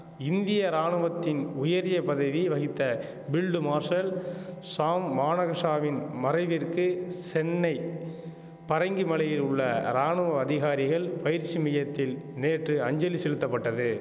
இந்திய ராணுவத்தின் உயரிய பதவி வகித்த பில்டு மார்ஷல் ஷாம் மானகஷாவின் மறைவிற்கு சென்னை பரங்கிமலையில் உள்ள ராணுவ அதிகாரிகள் பயிற்சி மியத்தில் நேற்று அஞ்சலி செலுத்தப்பட்டது